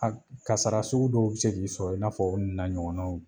A kasara sugu dɔw bɛ se k'i sɔrɔ i n'a fɔ o nun na ɲɔgɔnnaw.